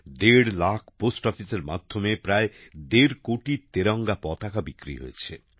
দেড় লক্ষ পোস্ট অফিসের মাধ্যমে প্রায় দেড় কোটি তেরঙ্গা পতাকা বিক্রি হয়েছে